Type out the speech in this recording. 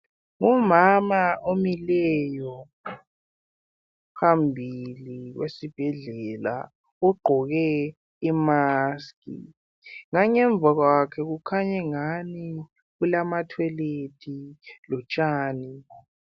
Umama omileyo phambili kwesibhedlela ugqoke imask . Ngangemva kwakhe kukhanyangani kulama toilet lotshani.